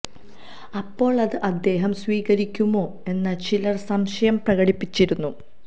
അപ്പോള് അത് അദ്ദേഹം സ്വീകരിക്കുമോ എന്ന് ചിലര് സംശയം പ്രകടിപ്പിച്ചിരുന്നു